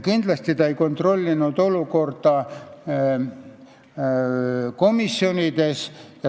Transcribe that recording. Kindlasti ei kontrollinud nad olukorda komisjonides.